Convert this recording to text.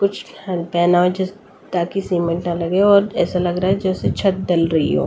कुछ पहना हुआ हो जिस ताकि सीमेंट ना लगे और ऐसा लग रहा है जैसे छत ढल रही हो।